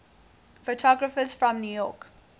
photographers from new york